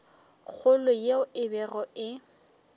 kgolo yeo e bego e